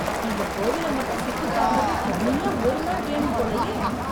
இந்த கோவில மட்டும் சுத்திப் பாக்கவே தனியா ஒரு நாள் வேணும் போலயே...